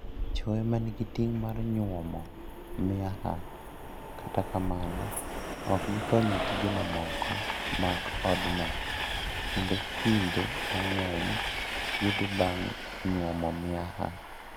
Chwo ema nigi ting' mar nyuomo miaha, kata kamano, ok gikony e tije mamoko mag odno, kendo kinde mang'eny githo bang' nyuomo miaha.